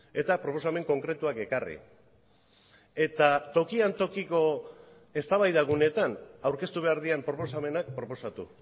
eta proposamen konkretuak ekarri eta tokian tokiko eztabaida guneetan aurkeztu behar diren proposamenak proposatu